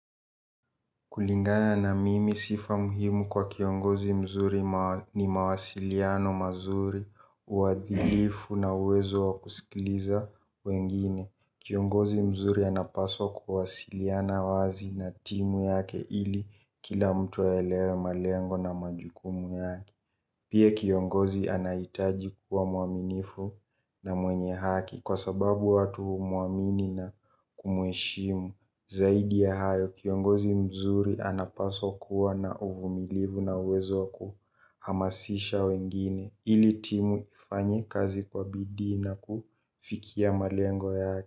Kulingana na mimi sifa muhimu kwa kiongozi mzuri ni mawasiliano mazuri, uadhilifu na uwezo wa kusikiliza wengine. Kiongozi mzuri anapaswa kuwasiliana wazi na timu yake ili kila mtu aelewe malengo na majukumu yake. Pia kiongozi anahitaji kuwa muaminifu na mwenye haki kwa sababu watu humuamini na kumuheshimu. Zaidi ya hayo kiongozi mzuri anapaswa kuwa na uvumilivu na uwezo wa kuhamasisha wengine ili timu ifanye kazi kwa bidii na kufikia malengo yake.